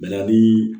Bɛnani